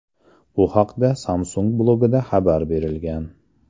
Bu haqda Samsung blogida xabar berilgan .